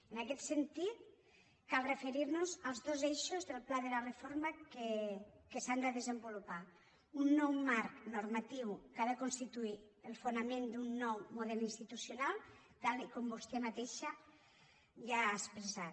en aquest sentit cal referir nos als dos eixos del pla de reforma que s’han de desenvolupar un nou marc normatiu que ha de constituir el fonament d’un nou model institucional tal com vostè mateixa ja ha expressat